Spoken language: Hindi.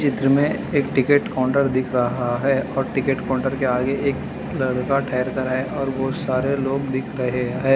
में एक टिकेट काउंटर दिख रहा है और टिकेट काउंटर के आगे एक लड़का ठहर कर है और बहुत सारे लोग दिख रहे हैं।